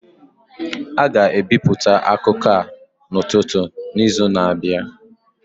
A ga-ebipụta akụkọ a n'ụtụtụ n'izu na-abịa.